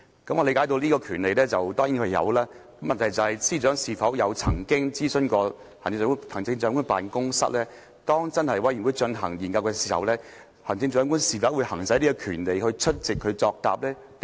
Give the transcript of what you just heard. "我理解他當然有這個權利，但問題是，司長曾否諮詢行政長官辦公室，當專責委員會進行研究時，行政長官會否行使這權利出席會議作答呢？